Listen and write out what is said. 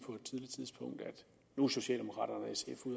nu er socialdemokraterne